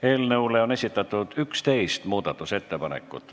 Eelnõu kohta on esitatud 11 muudatusettepanekut.